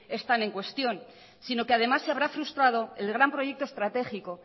están en cuestión sino que además se habrá frustrado el gran proyecto estratégico